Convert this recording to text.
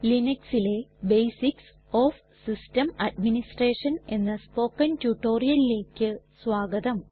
ലിനക്സിലെ basics of system administration എന്ന spoken റ്റുറ്റൊരിയലിലെക് സ്വാഗതം